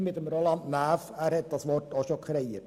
Er hat dieses Wort auch schon gebraucht.